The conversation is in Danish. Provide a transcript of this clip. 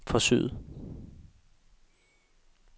forsøget